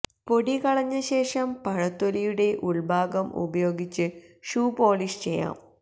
പൊടി കളഞ്ഞ ശേഷം പഴത്തൊലിയുടെ ഉള്ഭാഗം ഉപയോഗിച്ചു ഷൂ പോളിഷ് ചെയ്യാം